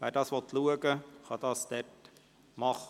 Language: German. Wer sich dies ansehen will, kann es tun.